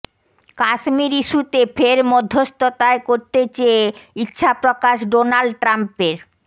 কাশ্মীর ইস্যুতে ফের মধ্যস্থতায় করতে চেয়ে ইচ্ছাপ্রকাশ ডোনাল্ড ট্রাম্পের